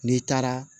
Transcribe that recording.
N'i taara